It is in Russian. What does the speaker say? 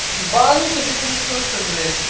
ты что ебанутый ну ты что несёшь то блять